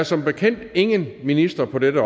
som bekendt ingen minister på dette